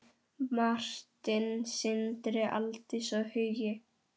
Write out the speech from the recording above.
Martin, Sindri, Aldís og Hugi.